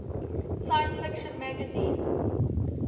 science fiction magazine